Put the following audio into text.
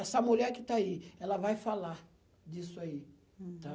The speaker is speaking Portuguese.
Essa mulher que está aí, ela vai falar disso aí. Hm. Tá?